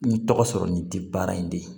Ni tɔgɔ sɔrɔ nin tɛ baara in de ye